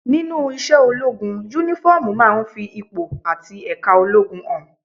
Nínú iṣẹ́ ológun, Únífọ́ọ̀mù máa ń fi ipò àti ẹ̀ka ológun hàn